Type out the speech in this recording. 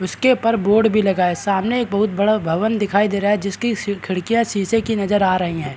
उसके ऊपर बोर्ड भी लगा हुआ हैं सामने एक बहुत बड़ा भवन दिखाई दे रहा है जिसकी खिड़कियाँ शीशे की नज़र आ रही हैं।